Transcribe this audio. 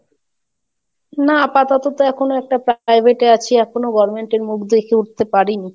না আপাতত তো এখনো একটা Private এ আছি এখনো government এর মুখ দেখে উঠতে পারিনি।